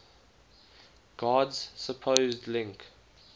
god's supposed link